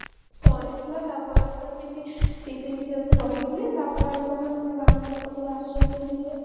ସରିଥିଲା ତାପରେ ତ ଏମିତି ପିଇସୀ ଫିସି ଆସିକି ରହିଥିଲେ ତାପରେ ଆଉ ସବୁ ଏମିତି ବାହାର ଲୋକ ସବୁ ଆସୁଛନ୍ତି ଧୀରେ ଧୀରେ